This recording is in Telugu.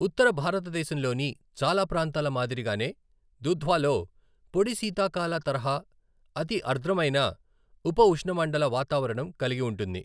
ఉత్తర భారతదేశంలోని చాలా ప్రాంతాల మాదిరిగానే దుధ్వాలో పొడి శీతాకాల తరహా అతి అర్ద్రమైన ఉపఉష్ణమండల వాతావరణం కలిగి ఉంటుంది.